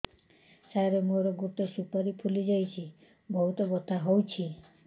ସାର ମୋର ଗୋଟେ ସୁପାରୀ ଫୁଲିଯାଇଛି ବହୁତ ବଥା ହଉଛି